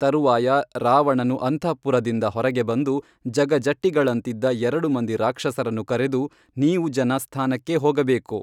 ತರುವಾಯ ರಾವಣನು ಅಂತಃಪುರದಿಂದ ಹೊರಗೆ ಬಂದು ಜಗಜಟ್ಟಿಗಳಂತಿದ್ದ ಎರಡು ಮಂದಿ ರಾಕ್ಷಸರನ್ನು ಕರೆದು ನೀವು ಜನ ಸ್ಥಾನಕ್ಕೇ ಹೋಗಬೇಕು